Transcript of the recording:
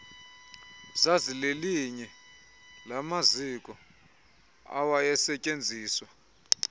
zazilelinye lamaziko awayesetyenziswa